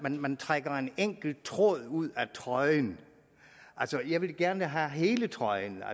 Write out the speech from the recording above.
man trækker en enkelt tråd ud af trøjen jeg vil gerne have hele trøjen